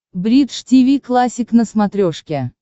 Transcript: бридж тиви классик на смотрешке